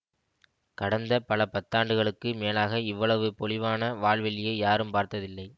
கடந்த பல பத்தாண்டுகளுக்கு மேலாக இவ்வளவு பொலிவான வால்வெள்ளியை யாரும் பார்த்த்தில்லை